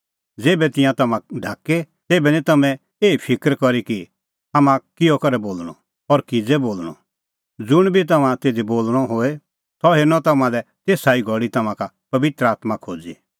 ज़ेभै तिंयां तम्हां ढाके तेभै निं तम्हैं एही फिकर करी कि हाम्हां किहअ करै बोल़णअ और किज़ै बोल़णअ ज़ुंण बी तम्हां तिधी बोल़णअ होए सह हेरनअ तम्हां लै तेसा ई घल़ी तम्हां का पबित्र आत्मां खोज़ी